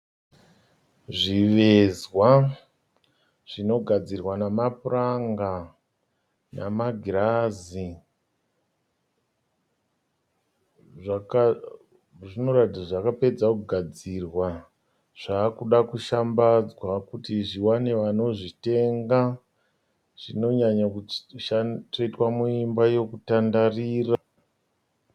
Zvivezwa zvinogadzirwa namapuranga namagirazi. Zvinoratidza kuti zvapedzwa kugadzirwa zvaakuda kushambadzwa kuti zviwane vanozvitenga. Zvinowanzo tsvetwa muimba yokutandarira.